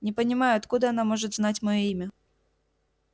не понимаю откуда она может знать моё имя